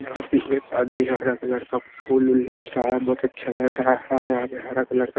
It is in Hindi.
यहां पे एक आदमी हरा कलर का फूल उल नोच रहा है बहुत अच्छा लग रहा है यहां पे हरा कलर का --